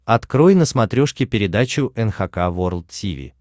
открой на смотрешке передачу эн эйч кей волд ти ви